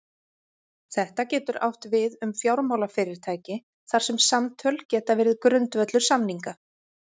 Þetta getur átt við um fjármálafyrirtæki þar sem samtöl geta verið grundvöllur samninga.